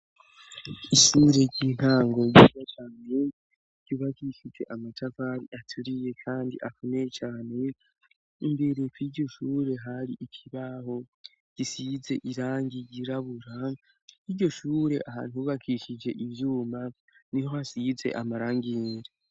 Isinure ryintango giwa cane ryubakishije amatavari aturiye, kandi akuneye cane imbere kiryo shure hari ikibaho gisize irangi rirabura 'iryo shure ahantubakishije ivyuma ni ho hasize amarangije.